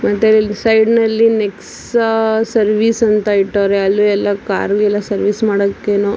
ಮತ್ತೆ ಇಲ್ ಸೈಡ್ ನಲ್ಲಿ ನೆಕ್ಸಾ ಅಹ್ ಸರ್ವಿಸ್ ಅಂತ ಇಟವ್ರೆ ಅಲ್ಲು ಎಲ್ಲ ಕಾರ್ ಸರ್ವಿಸ್ ಮಾಡಕ್ ಏನೋ.